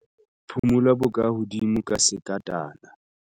Phumula bokahodimo ka sekatana.